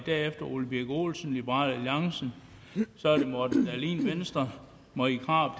ole birk olesen liberal alliance morten dahlin venstre marie krarup